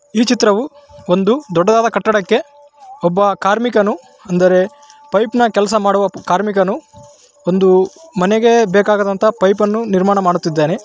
ಈ ಚಿತ್ರವು ಒಂದು ದೊಡ್ಡದಾದ ಕಟ್ಟಡಕ್ಕೆ ಒಬ್ಬ ಕಾರ್ಮಿಕನು ಅಂದರೆ ಪೈಪ್‌ ನ ಕೆಲಸ ಮಾಡುವ ಕಾರ್ಮಿಕನು ಒಂದು ಮನೆಗೆ ಬೇಕಾದ ಪೈಪನ್ನು ನಿರ್ಮಾಣ ಮಾಡುತ್ತಿದ್ದಾನೆ.